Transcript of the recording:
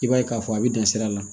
I b'a ye k'a fɔ a bɛ dan sira la